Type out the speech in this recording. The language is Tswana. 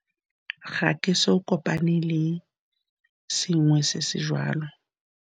Ga ke eso kopane le sengwe se se joalo.